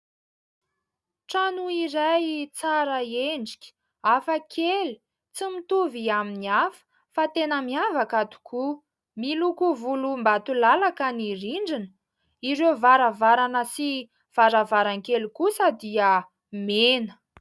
Trano iray tsara endrika, hafakely tsy mitovy amin'ny hafa fa tena miavaka tokoa, miloko volom-batolalaka ny rindrina, ireo varavarana sy varavaran-kely kosa dia mena.